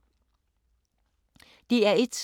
DR1